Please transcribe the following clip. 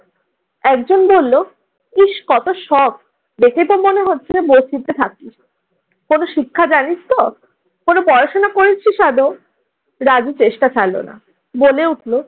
একজন বলল, ইস্ কত শখ! দেখেতো মনে হচ্ছে বস্তিতে থাকিস্। কোন শিক্ষা জানিস তো? কোন পড়াশোনা করেছিস আদৌ? রাজু চেষ্টা ছাড়লো না। বলে উঠল,